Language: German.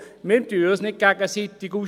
Wir spielen uns nicht gegenseitig aus.